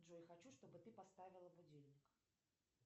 джой хочу чтобы ты поставила будильник